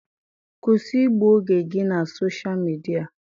Kwụsị igbu oge gị na Sosha Midia!